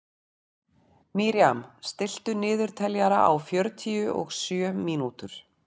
Miriam, stilltu niðurteljara á fjörutíu og sjö mínútur.